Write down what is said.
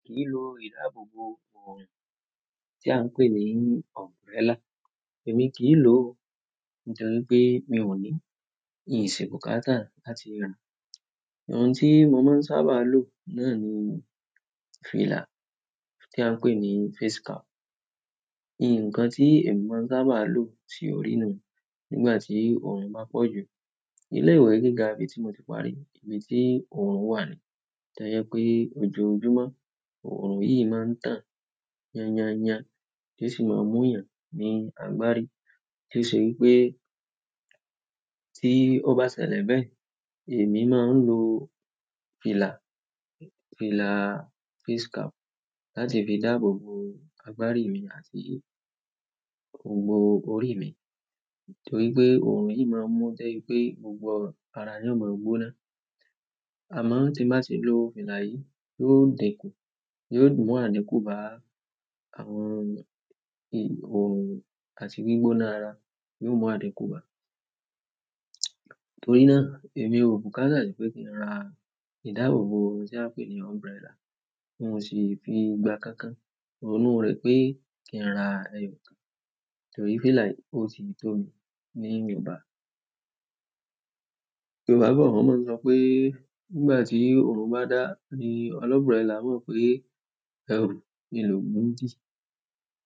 Lilo ìdáàbòbò òòrùn tí a ń pè ní umbrella. Èmi kì í lò ó nítorí pé mi ò ní in si bukata láti ra. Òun tí mo máa ń sábà lo náà ni fìlà tí a ń pè ní face cap. Ni nǹkan tí èmi máa ń sábà lo si òrí nu nígbà tí òòrùn bá pọ̀ jù. Ilé ìwé gíga ibi tí mo ti parí, ibi tí òòrùn wà ni, tó jẹ pé ojoojúmọ́ òòrùn yìí máa ń tàn yányaanyan, ti o sì máa ń mú eeyan ní agbárí. Ti o se wípé ti o ba sẹlẹ bẹ́ẹ̀, emi maa n lo fìlà, fìlà face cap láti fi dáàbòbò agbárí mi àti gbogbo orí mi. Torí pé òòrùn yìí máa ń mú de ibi pé gbogbo ara ni ò mọ̀ọ́ gbóná. Amọ ti n ba ti lo fìlà yi yóò dinku, yóò mu adinku ba àwọn oorun àti gbigbona ara yóò mu adinku ba. Torí náà èmi ò bùkátà pé kí n ra ìdáàbòbò tí a ń pè ní umbrella, n o sì fi gba kankan. Ronu rẹ pé kí n ra ẹyọkan, torí fìlà yìí ó ti tó mi níwọ̀nba. Yorùbá bọ wọn máa ń sọ pé nígbà tí òòrùn bá dá, ní ọlọburella o mọ ń pè ẹrù, ni lòún dì.